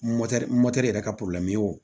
yɛrɛ ka wo